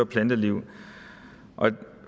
planteliv